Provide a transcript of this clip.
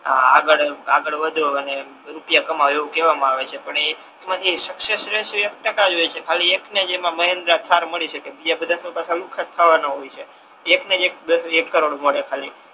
આગળ વધો અને રૂપિયા કમાઓ પણ એમાથી સુકસેસ રેશીઓ એક ટકા જ હોય છે ખાલી એક ને જ એમા મહેન્દ્ર કાર મળી શકે બીજા બધા ને તો પાછા લૂખા જ ખાવાના હોય છે એક ને જ એક કરોડ મળે ખાલી